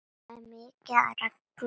Það er mikið af reglum.